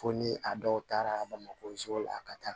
Fo ni a dɔw taara bamakɔ so la ka taa